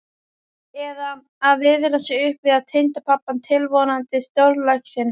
Eða að viðra sig upp við tengdapabbann tilvonandi, stórlaxinn.